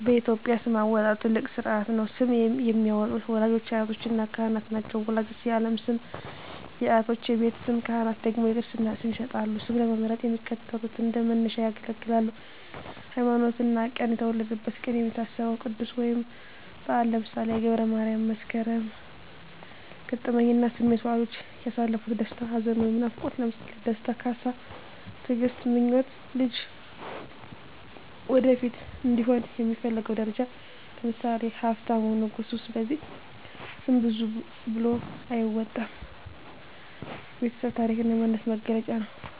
በኢትዮጵያ ስም አወጣጥ ትልቅ ሥርዓት ነው። ስም የሚያወጡት ወላጆች፣ አያቶችና ካህናት ናቸው። ወላጆች የዓለም ስም፣ አያቶች የቤት ስም፣ ካህናት ደግሞ የክርስትና ስም ይሰጣሉ። ስም ለመምረጥ የሚከተሉት እንደ መነሻ ያገለግላሉ 1)ሃይማኖትና ቀን የተወለደበት ቀን የሚታሰበው ቅዱስ ወይም በዓል (ለምሳሌ ገብረ ማርያም፣ መስከረም)። 2)ገጠመኝና ስሜት ወላጆች ያሳለፉት ደስታ፣ ሐዘን ወይም ናፍቆት (ለምሳሌ ደስታ፣ ካሳ፣ ትግስት)። 3)ምኞት ልጁ ወደፊት እንዲሆን የሚፈለገው ደረጃ (ለምሳሌ ሀብታሙ፣ ንጉሱ)። ስለዚህ ስም ዝም ብሎ አይወጣም፤ የቤተሰብ ታሪክና የማንነት መገለጫ ነው።